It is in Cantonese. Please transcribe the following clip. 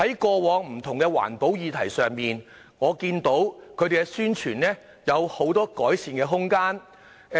過往在不同的環保議題之上，我看到宣傳方面有許多改善的空間。